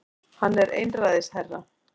Hann er einræðisherra